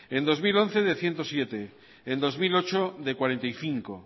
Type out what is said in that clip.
en dos mil once de ehun eta zazpi en bi mila zortzi de berrogeita bost